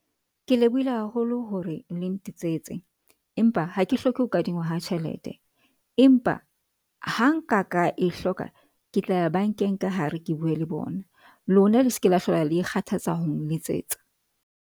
Ke lebohile haholo hore le ntetsetse, empa ha ke hloke ho kadingwa ha tjhelete empa ha nka ka e hloka. Ke tla ya bank-eng ka hare. Ke bue le bona lona le se ke la hlola le ikgathatsa ho nletsetsa.